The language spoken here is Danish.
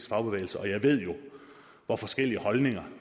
fagbevægelse og jeg ved hvor forskellige holdninger